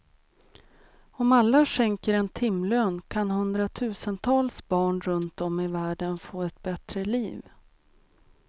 Om alla skänker en timlön kan hundratusentals barn runtom i världen få ett bättre liv.